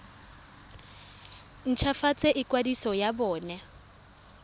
nt hwafatse ikwadiso ya bona